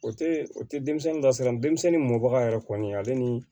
O tɛ o tɛ denmisɛnnin lasira denmisɛnnin mɔbaga yɛrɛ kɔni ale ni